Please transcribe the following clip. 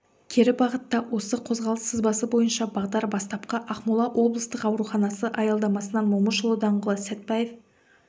кері бағытта осы қозғалыс сызбасы бойынша бағдар бастапқы ақмола облыстық ауруханасы аялдамасынан момышұлы даңғылы сәтпаев